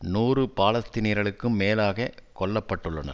நூறு பாலஸ்தீனியர்களுக்கும் மேலாக கொல்ல பட்டுள்ளனர்